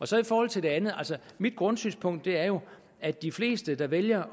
så i forhold til det andet altså mit grundsynspunkt er jo at de fleste der vælger